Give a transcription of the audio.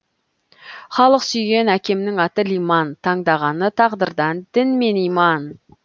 халық сүйген әкемнің аты лиман таңдағаны тағдырдан дін мен иман